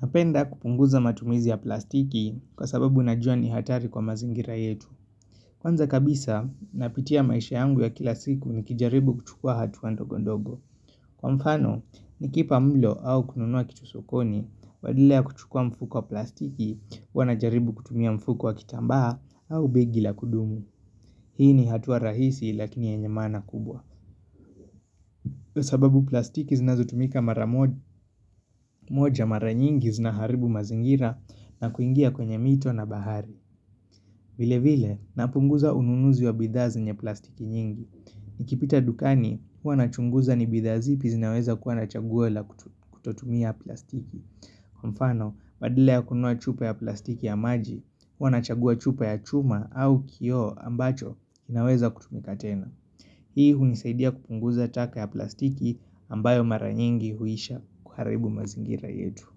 Napenda kupunguza matumizi ya plastiki kwa sababu najua ni hatari kwa mazingira yetu. Kwanza kabisa, napitia maisha yangu ya kila siku nikijaribu kuchukua hatua ndogo ndogo. Kwa mfano, nikipa mlo au kununua kitu sokoni, badala ya kuchukua mfuko wa plastiki, huwa najaribu kutumia mfuko wa kitambaa au begi la kudumu. Hii ni hatua rahisi lakini yenye maana kubwa. Kwa sababu plastiki zinazotumika mara moja mara nyingi zinaharibu mazingira na kuingia kwenye mito na bahari vile vile napunguza ununuzi wa bidhaa zenye plastiki nyingi Nikipita dukani huwa nachunguza ni bidhaa zipi zinaweza kuwa na chaguo la kutotumia plastiki Kwa mfano badala ya kununua chupa ya plastiki ya maji huwa nachagua chupa ya chuma au kioo ambacho inaweza kutumika tena Hii hunisaidia kupunguza taka ya plastiki ambayo mara nyingi huisha kuharibu mazingira yetu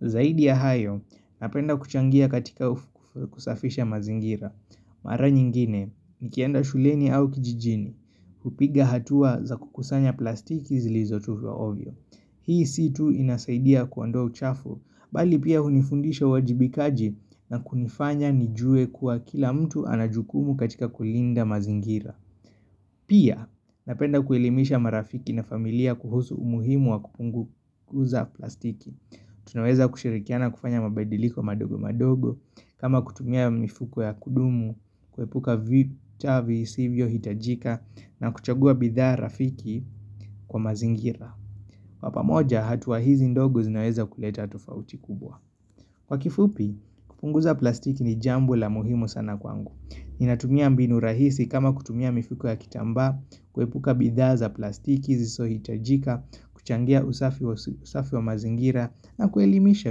Zaidi ya hayo, napenda kuchangia katika kusafisha mazingira Mara nyingine, nikienda shuleni au kijijini, hupiga hatua za kukusanya plastiki zilizotupwa ovyo Hii situ inasaidia kuondoa uchafu, bali pia hunifundisha wajibikaji na kunifanya nijue kuwa kila mtu anajukumu katika kulinda mazingira Pia, napenda kuelimisha marafiki na familia kuhusu umuhimu wa kupunguza plastiki Tunaweza kushirikiana kufanya mabadiliko madogo madogo kama kutumia mifuko ya kudumu, kuepuka vita visivyo, hitajika na kuchagua bidhaa rafiki kwa mazingira Kwa pamoja, hatua hizi ndogo zinaweza kuleta tofauti kubwa Kwa kifupi, kupunguza plastiki ni jambo la muhimu sana kwangu Ninatumia mbinu rahisi kama kutumia mifuko ya kitambaa kuepuka bidhaa za plastiki zisohitajika, kuchangia usafi usafi wa mazingira na kuelimisha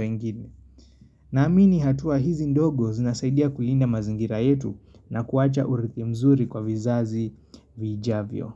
wengine na amini hatua hizi ndogo zinasaidia kulinda mazingira yetu na kuwacha urithi mzuri kwa vizazi vijavyo.